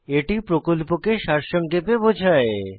এটি প্রকল্পকে সারসংক্ষেপে বোঝায়